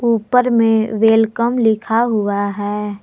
ऊपर में वेलकम लिखा हुआ है।